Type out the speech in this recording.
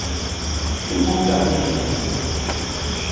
lemongameli